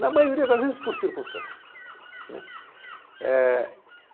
Na maioria das vezes, por circunstâncias.